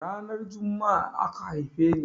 Ranar Jumma'a aka haife ni.